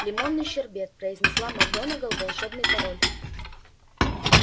лимонный шербет произнесла макгонагалл волшебный пароль